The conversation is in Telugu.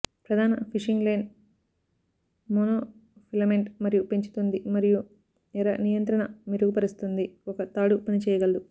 ప్రధాన ఫిషింగ్ లైన్ మోనోఫిలమెంట్ మరియు పెంచుతుంది మరియు ఎర నియంత్రణ మెరుగుపరుస్తుంది ఒక తాడు పనిచేయగలదు